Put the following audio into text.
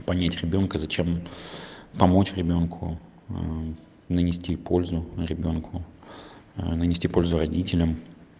понять ребёнка зачем помочь ребёнку нанести пользу на ребёнку нанести пользу родителям